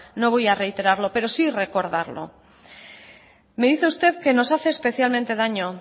no voy a reiterarlo pero sí recordarlo me dice usted que nos hace especialmente daño